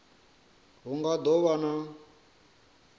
hu nga do vha na